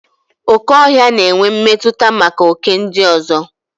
Okè ọhịa na-enwe mmetụta maka oké ndị ọzọ.